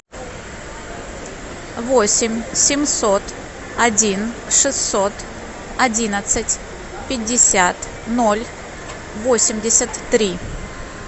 восемь семьсот один шестьсот одиннадцать пятьдесят ноль восемьдесят три